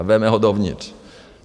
A vezme ho dovnitř.